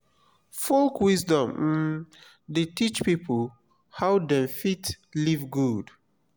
folk wisdom um dey teach pipo how dem fit live good.